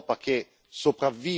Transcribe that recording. Questa è la domanda fondamentale.